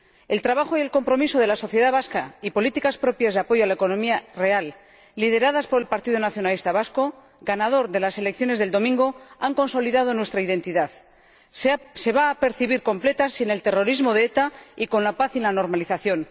El trabajo y el compromiso de la sociedad vasca y políticas propias de apoyo a la economía real, lideradas por el Partido Nacionalista Vasco, ganador de las elecciones del domingo, han consolidado nuestra identidad, que se va a percibir completa sin el terrorismo de ETA y con la paz y la normalización.